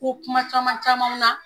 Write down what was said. Ko kuma caman camanw na.